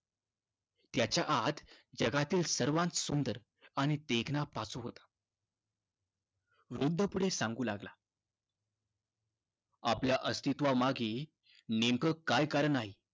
त्याच्या आत जगातील सर्वांत सुंदर आणि देखणा पाचू होता. वृद्ध पुढे सांगू लागला, आपल्या अस्तित्वामागे नेमकं काय कारण आहे,